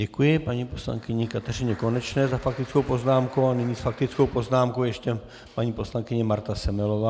Děkuji paní poslankyni Kateřině Konečné za faktickou poznámku a nyní s faktickou poznámkou ještě paní poslankyně Marta Semelová.